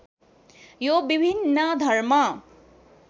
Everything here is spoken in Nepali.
यो विभिन्न धर्म